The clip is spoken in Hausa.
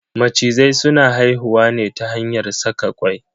Macizai suna haihuwa ne ta hanyar saka kwai.